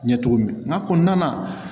Ɲɛ cogo min nga kɔnɔna na